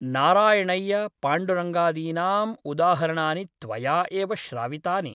नारायणव्यपाण्डुरङ्गादीनाम् उदाहरणानि त्वया एव श्रावितानि ।